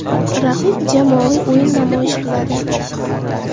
Raqib jamoaviy o‘yin namoyish qiladi.